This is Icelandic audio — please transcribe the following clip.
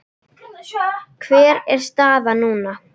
Hver er staðan núna?